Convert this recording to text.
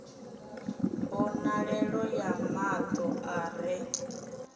mbonalelo ya mato a re